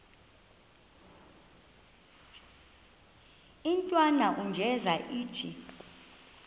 intwana unjeza ithi